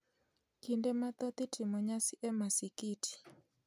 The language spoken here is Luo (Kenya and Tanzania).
kinde mathoth itimo nyasi e masikiti,